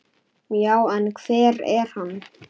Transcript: Já, en hver er hann?